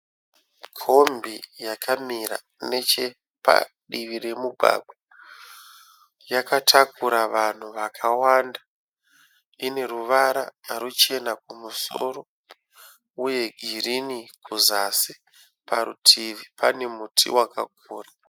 Kombi yakamira nechepadivi remugwagwa. Yakatakura vanhu vakawanda. Ine ruvara ruchena kumusoro uye girini kuzasi. Parutivi pane muti wakakura.